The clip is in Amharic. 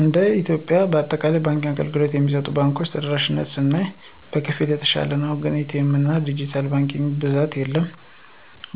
እንደ ኢትዮጵያ በአጠቃላይ የባንክ አገልግሎት የሚሰጡ ባንኮች ተደራሽነታቸውን ስናይ በከፊል የተሻለ ነው ግን በኤ.ቲ. ኤምና ድጅታል ባንኪንግ በብዛት የለም።